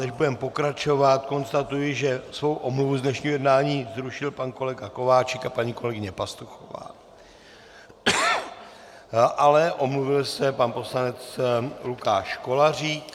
Než budeme pokračovat, konstatuji, že svou omluvu z dnešního jednání zrušili pan kolega Kováčik a paní kolegyně Pastuchová, ale omluvil se pan poslanec Lukáš Kolařík.